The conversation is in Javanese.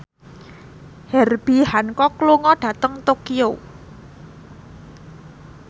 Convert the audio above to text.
Herbie Hancock lunga dhateng Tokyo